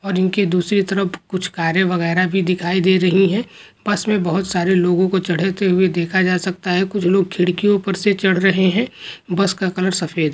और उनकी दूसरी तरफ कुछ कार्य वगैरा भी दिखाई दे रही है बस में बहुत सारे लोगों को चढ़े हुए देखा जा सकता है कुछ लोग खिड़कियों पर से चढ़ रहे हैं बस का कलर सफेद है।